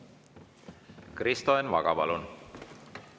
Kristo Enn Vaga, palun!